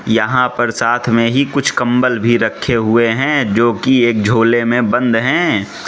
यहां पर साथ में ही कुछ कंबल भी रखे हुए हैं जो कि एक झोले में बंद हैं।